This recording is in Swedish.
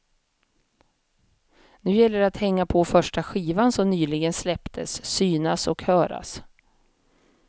Nu gäller det att hänga på första skivan som nyligen släpptes, synas och höras.